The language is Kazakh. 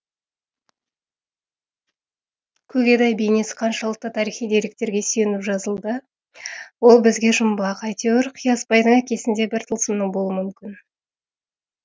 көгедай бейнесі қаншалықты тарихи деректерге сүйеніп жазылды ол бізге жұмбақ әйтеуір қиясбайдың әкесінде бір тылсымның болуы мүмкін